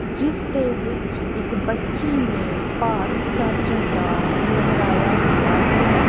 ਜਿਸ ਦੇ ਵਿੱਚ ਇੱਕ ਬੱਚੀ ਨੇ ਭਾਰਤ ਦਾ ਝੰਡਾ ਲਹਿਰਾਇਆ ਹੋਇਆ ਹੈ।